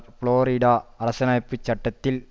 Florida அரசியலமைப்பு சட்டத்தில்